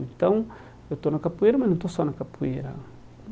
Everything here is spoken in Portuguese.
Então, eu estou na capoeira, mas não estou só na capoeira.